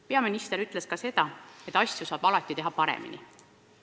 Peaminister ütles, et asju saab alati teha paremini.